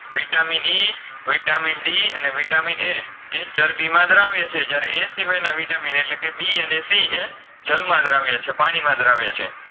VitaminE, Vitamin D અને Vitamin A એ ચરબીમાં દ્રાવ્ય છે જ્યારે એ સિવાયનના Vitamin એટલે કે B અને C એ જલમાં દ્રાવ્ય છે પાણીમાં દ્રાવ્ય છે